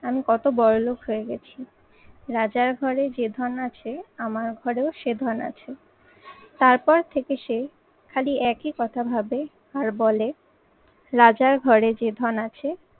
আমি কত বড়লোক হয়ে গেছি। রাজার ঘরে যে ধন আছে, আমার ঘরেও সে ধন আছে। তারপর থেকে সে, খালি একই কথা ভাবে, আর বলে, রাজার ঘরে যে ধন আছে,